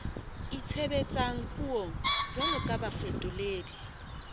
itshebetsang puong jwalo ka bafetoledi